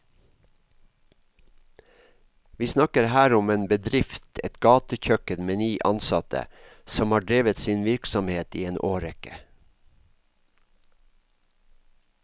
Vi snakker her om en bedrift, et gatekjøkken med ni ansatte, som har drevet sin virksomhet i en årrekke.